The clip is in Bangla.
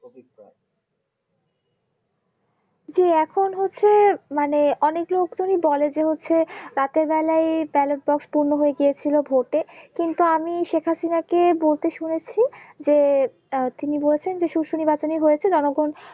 জি, এখন হচ্ছে মানে অনেক লোকজনই বলে যে হচ্ছে রাতের বেলায় Ballot Box পূর্ণ হয়ে গিয়েছিল ভোট কিন্তু আমি শেখার সিনহা-কে বলতে শুনেছি যে আহ তিনি বলেছেন সুস্থ নির্বাচন হয়েছে তিনি জনগণ